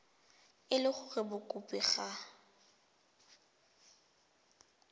e le gore mokopi ga